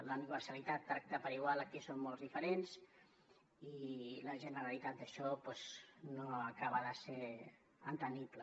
la universalitat tracta per igual a qui són molts diferents i la generalitat això doncs no s’acaba d’entendre